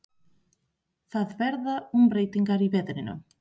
Það verða umbreytingar í veðrinu.